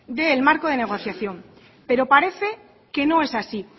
del marco de negociación pero parece que no es así